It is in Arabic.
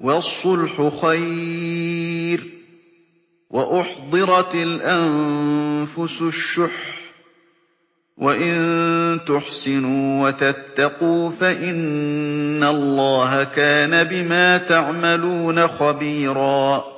وَالصُّلْحُ خَيْرٌ ۗ وَأُحْضِرَتِ الْأَنفُسُ الشُّحَّ ۚ وَإِن تُحْسِنُوا وَتَتَّقُوا فَإِنَّ اللَّهَ كَانَ بِمَا تَعْمَلُونَ خَبِيرًا